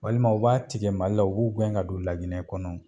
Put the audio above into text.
Walima u b'a tigɛ Mali la u b'u gɛn ka don laginɛ kɔnɔ.